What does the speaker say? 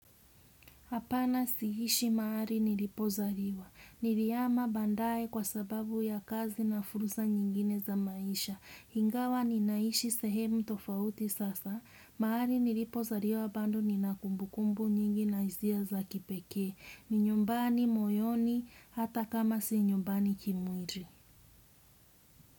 Hapana siishi mahali nilipozaliwa. Nilihama baadae kwa sababu ya kazi na fursa nyingine za maisha. Ingawa ninaishi sehemu tofauti sasa. Mahali nilipozaliwa bado ninakumbukumbu nyingi na hizia za kipekee. Ni nyumbani moyoni hata kama si nyumbani kimwili.